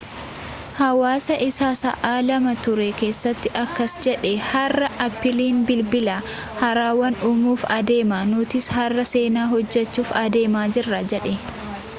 haasawa isaa sa'aa 2 ture keesatti akkas jedhe har'a appiliin bilbila haarawa uumuuf adeema nutis har'a seenaa hojjechuuf adeemaa jirra jedhe